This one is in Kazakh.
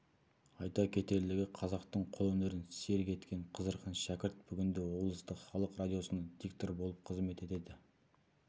айта кетерлігі қазақтың қолөнерін серік еткен қызырхан шәкірт бүгінде облыстық халық радиосында диктор болып қызмет етеді